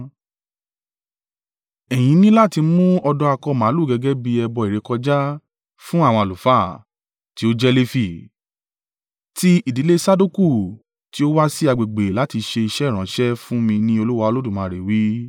Ẹ̀yin ní láti mú ọ̀dọ́ akọ màlúù gẹ́gẹ́ bí ẹbọ ìrékọjá fún àwọn àlùfáà, tí ó jẹ́ Lefi, tí ìdílé Sadoku tí ó wá sí agbègbè láti ṣe iṣẹ́ ìránṣẹ́ fún mi ní Olúwa Olódùmarè wí.